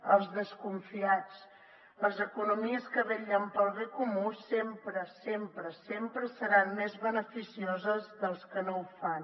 als desconfiats les economies que vetllen pel bé comú sempre sempre sempre seran més beneficioses que les que no ho fan